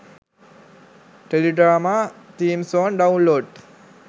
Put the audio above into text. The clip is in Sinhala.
teledrama theme song download